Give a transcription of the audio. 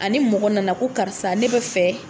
Ani mɔgɔ nana ko karisa ne bɛ fɛ